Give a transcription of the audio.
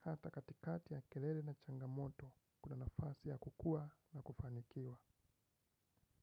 hata katikati ya kelele na changamoto kuna nafasi ya kukua na kufanikiwa.